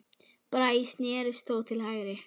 Bragi snérist þó til hægri.